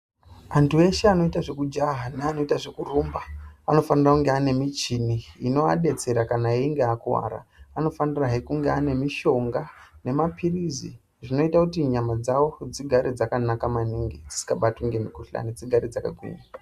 Antu ese anoita zvekujaha nevanoita zvekurumba anfanirwa kunga anemichini inodetsera kana einge akuwara ,anfanirwa zvekuti ange anomushonga nemapilizi zvinonoita kutinyama dzavo dzigare dzakanaka maningi dzisingabatwi ngemukuhlani dzigare dzakagwinya.